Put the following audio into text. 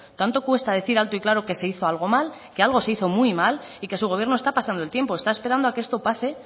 tanto cuesta decir alto y claro que se hizo algo mal qué algo se hizo muy mal y que su gobierno está pasando el tiempo está esperando que esto pase